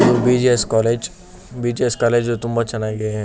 ಇದು BGS. College BGS. College ತುಂಬಾ ಚೆನ್ನಾಗಿ--